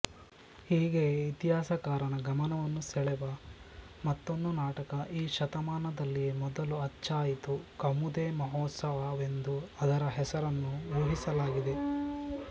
ಹೀಗೆಯೇ ಇತಿಹಾಸಕಾರನ ಗಮನವನ್ನು ಸೆಳೆವ ಮತ್ತೊಂದು ನಾಟಕ ಈ ಶತಮಾನದಲ್ಲಿಯೇ ಮೊದಲು ಅಚ್ಚಾಯಿತು ಕೌಮುದೇಮಹೋತ್ಸವವೆಂದು ಅದರ ಹೆಸರನ್ನು ಊಹಿಸಲಾಗಿದೆ